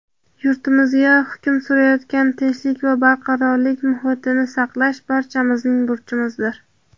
yurtimizda hukm surayotgan tinchlik va barqarorlik muhitini saqlash – barchamizning burchimizdir.